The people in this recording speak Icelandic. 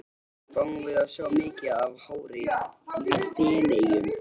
Fáum við að sjá mikið af hári í Feneyjum?